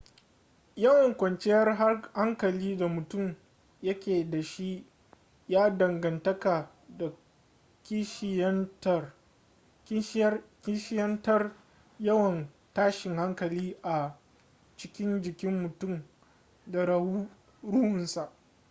yawan kwanciyar hankali da mutum yake da shi ya danganta da kishiyantar yawan tashin hankali a cikin jikin mutum da ruhunsa